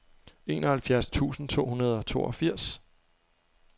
enoghalvfjerds tusind to hundrede og toogfirs